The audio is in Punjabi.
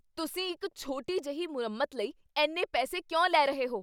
ਤੁਸੀਂ ਇੱਕ ਛੋਟੀ ਜਿਹੀ ਮੁਰੰਮਤ ਲਈ ਇੰਨੇ ਪੈਸੇ ਕਿਉਂ ਲੈ ਰਹੇ ਹੋ?